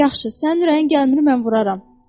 Yaxşı, sənin ürəyin gəlmir, mən vuraram.